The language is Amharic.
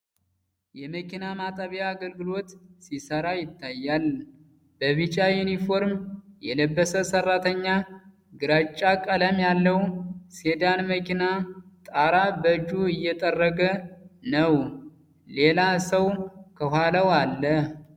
የመኪና ማጠቢያ አገልግሎት ሲሰራ ይታያል። በቢጫ ዩኒፎርም የለበሰ ሰራተኛ ግራጫ ቀለም ያለው ሴዳን መኪና ጣራ በእጁ እየጠረገ ነው። ሌላ ሰው ከኋላው አለ።